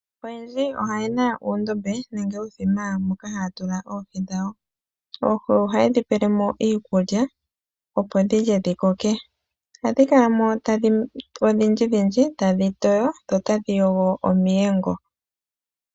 Oyendji oye na uundombe nenge uuthima moka haya tula oohi dhawo. Oohi ohaye dhi pele mo iikulya, opo dhi lye dhi koke. Ohadhi kala mo odhindjidhindji tadhi toyo dho tadhi yogo omiyengo.